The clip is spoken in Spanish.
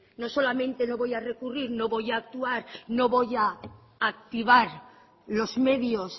no solamente no voy a recurrir no voy a actuar no voy a activar los medios